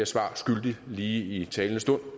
svar skyldig lige i talende stund